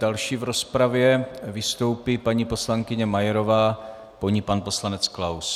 Další v rozpravě vystoupí paní poslankyně Majerová, po ní pan poslanec Klaus.